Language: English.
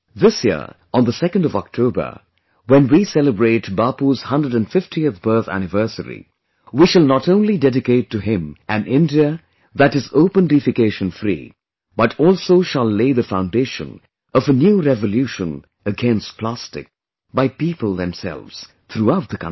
This year, on the 2nd of October, when we celebrate Bapu's 150th birth anniversary, we shall not only dedicate to him an India that is Open Defecation Free, but also shall lay the foundation of a new revolution against plastic, by people themselves, throughout the country